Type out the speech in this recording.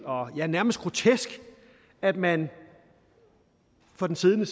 ja nærmest grotesk at man fra den siddende